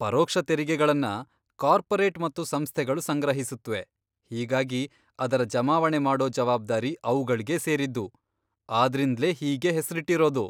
ಪರೋಕ್ಷ ತೆರಿಗೆಗಳನ್ನ ಕಾರ್ಪೊರೇಟ್ ಮತ್ತು ಸಂಸ್ಥೆಗಳು ಸಂಗ್ರಹಿಸುತ್ವೆ, ಹೀಗಾಗಿ ಅದರ ಜಮಾವಣೆ ಮಾಡೋ ಜವಾಬ್ದಾರಿ ಅವುಗಳ್ಳೇ ಸೇರಿದ್ದು, ಆದ್ರಿಂದ್ಲೇ ಹೀಗೆ ಹೆಸ್ರಿಟ್ಟಿರೋದು.